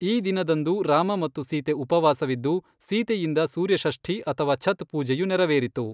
ಈ ದಿನದಂದು ರಾಮ ಮತ್ತು ಸೀತೆ ಉಪವಾಸವಿದ್ದು, ಸೀತೆಯಿಂದ ಸೂರ್ಯ ಷಷ್ಠಿ ಅಥವಾ ಛತ್ ಪೂಜೆಯು ನೆರವೇರಿತು.